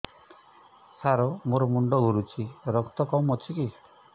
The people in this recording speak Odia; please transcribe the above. ସାର ମୋର ମୁଣ୍ଡ ଘୁରୁଛି ରକ୍ତ କମ ଅଛି କି